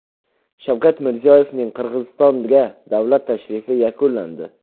Shavkat Mirziyoyevning Qirg‘izistonga davlat tashrifi yakunlandi.